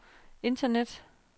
internet